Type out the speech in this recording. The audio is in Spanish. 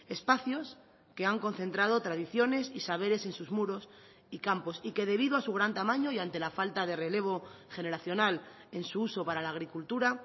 espacios que han concentrado tradiciones y saberes en sus muros y campos y que debido a su gran tamaño y ante la falta de relevo generacional en su uso para la agricultura